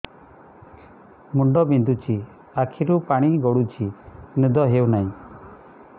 ମୁଣ୍ଡ ବିନ୍ଧୁଛି ଆଖିରୁ ପାଣି ଗଡୁଛି ନିଦ ହେଉନାହିଁ